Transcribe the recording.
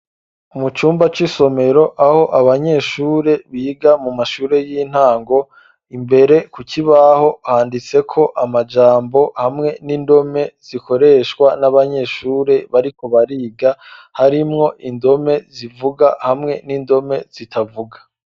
Mu cumba c'isomero, aho abanyeshure, biga mu mashure y'intango; imbere ku kibaho, handitseko amajambo, hamwe n'indome, zikoreshwa n'abanyeshure bariko bariga; harimwo indome zivuga, hamwe n'indome zitavuga.